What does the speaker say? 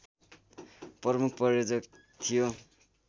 प्रमुख प्रायोजक थियो